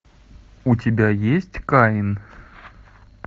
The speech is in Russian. у тебя есть каин